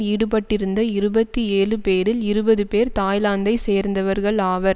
ஈடுபட்டிருந்த இருபத்தி ஏழு பேரில் இருபது பேர் தாய்லாந்தை சேர்ந்தவர்கள் ஆவர்